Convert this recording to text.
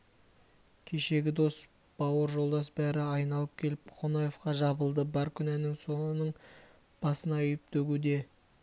кешегі дос бауыр жолдас бәрі айналып келіп қонаевқа жабылды бар күнәні соның басына үйіп-төгуде